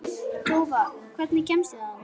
Tófa, hvernig kemst ég þangað?